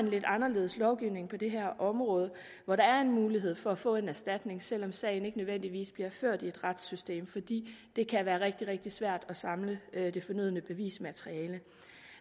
lidt anderledes lovgivning på det her område hvor der er en mulighed for at få en erstatning selv om sagen ikke nødvendigvis bliver ført i et retssystem fordi det kan være rigtig rigtig svært at samle det fornødne bevismateriale